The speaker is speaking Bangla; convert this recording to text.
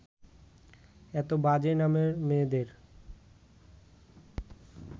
এত বাজে নামের মেয়েদের